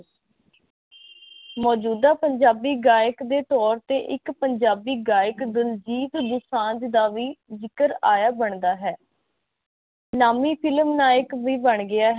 ਮੋਜੂਦਾ ਪੰਜਾਬੀ ਗਾਇਕ ਦੇ ਤੋਰ ਤੇ ਇਕ ਪੰਜਾਬੀ ਗਾਇਕ ਦਲਜੀਤ ਦੋਸਾੰਜ ਦਾ ਵੀ ਜ਼ਿਕਰ ਆਇਆ ਬਣਦਾ ਹੈ ਨਾਮੀ ਫਿਲਮ ਨਾਇਕ ਵੀ ਬਣ ਗਿਆ ਹੈ